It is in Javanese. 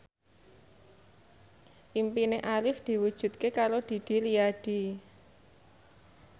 impine Arif diwujudke karo Didi Riyadi